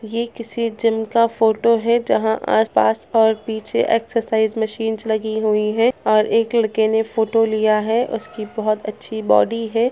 ये किसी जिम का फोटो है जहां आस पास और पीछे एक्सरसाइज़ मशीन्स लगी हुई हैं और एक लड़के ने फोटो लिया है उसकी बहुत अच्छी बॉडी है ।